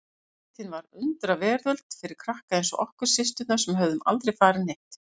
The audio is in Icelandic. Sveitin var undraveröld fyrir krakka eins og okkur systurnar sem höfðum aldrei farið neitt.